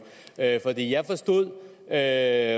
er